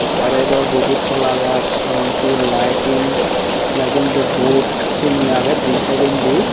barey daw dibey kola gaj emon ki lighting lighting di board syeni agey di sydendi.